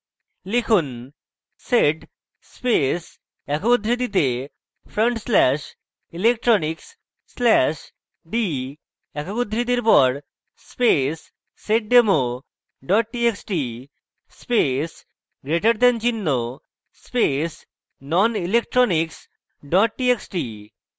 লিখুন: sed space একক উদ্ধৃতিতে front slash electronics slash d একক উদ্ধৃতির পর space seddemo dot txt space greater than চিহ্ন space nonelectronics ডট txt